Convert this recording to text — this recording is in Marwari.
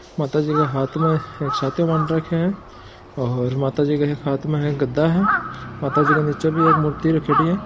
माता जी का हाथ में एक साथियो मांड राखो है और माता जी के हाथ में एक गद्दा है माता जी के नीचे बी एक मूर्ति रखेड़ी है।